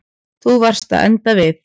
Þú varst að enda við.